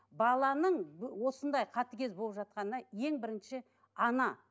баланың осындай қатыгез болып жатқанына ең бірінші ана